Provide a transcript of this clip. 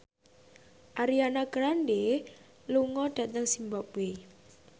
Ariana Grande lunga dhateng zimbabwe